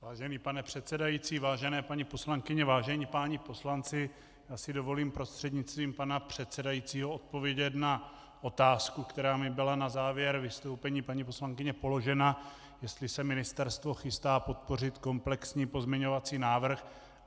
Vážený pane předsedající, vážené paní poslankyně, vážení páni poslanci, já si dovolím prostřednictvím pana předsedajícího odpovědět na otázku, která mi byla na závěr vystoupení paní poslankyně položena, jestli se ministerstvo chystá podpořit komplexní pozměňovací návrh.